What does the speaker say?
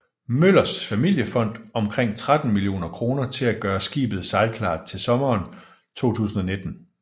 Møllers familiefond omkring 13 millioner kroner til at gøre skibet sejlklar til sommeren 2019